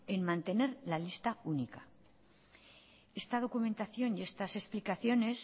en mantener la lista única esta documentación y estas explicaciones